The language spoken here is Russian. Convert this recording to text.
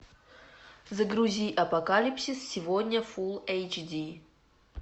загрузи апокалипсис сегодня фул эйч ди